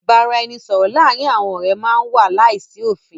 Ìbáraẹnisọ̀rọ̀ láàárín àwọn ọ̀rẹ́ má n wà láìsí òfin.